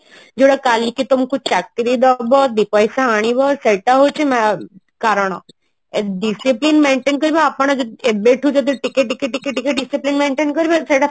ଯାହା କାଲିକି ତମକୁ ଚାକିରି ଦବ ଦିପଇସା ମିଳିବ ସେଟା ହଉଛି କାରଣ ଏ discipline maintain କରିବା ଆପଣ ଯଦି ଏବେଠୁ ଯଦି ଟିକେ ଟିକେ ଟିକେ ଟିକେ discipline maintain କରିବା ସେଟା